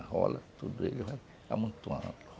Arrola tudo ele, vai amontoando.